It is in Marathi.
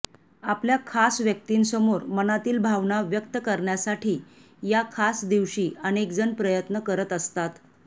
आपल्या खास व्यक्तीसमोर मनातील भावना व्यक्त करण्यासाठी या खास दिवशी अनेकजण प्रयत्न करत असतात